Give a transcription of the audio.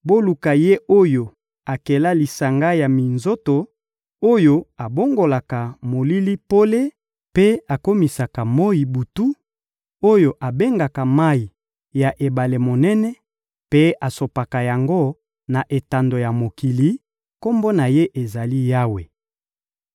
boluka Ye oyo akela lisanga ya minzoto, oyo abongolaka molili pole mpe akomisaka moyi butu, oyo abengaka mayi ya ebale monene mpe asopaka yango na etando ya mokili; Kombo na Ye ezali: Yawe.